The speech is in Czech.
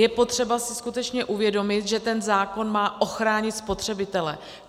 Je potřeba si skutečně uvědomit, že ten zákon má ochránit spotřebitele.